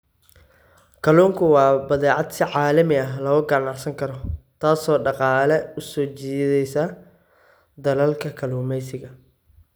Kalluunku waa badeecad si caalami ah looga ganacsan karo, taasoo dhaqaale u soo jiideysa dalalka kalluumeysiga.